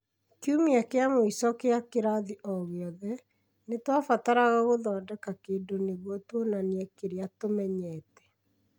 Kiumia kĩa mũico kĩa kĩrathi o gĩothe, nĩ twabataraga gũthondeka kĩndũ nĩguo tuonanie kĩrĩa tũmenyete